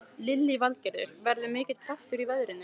Lillý Valgerður: Verður mikill kraftur í veðrinu?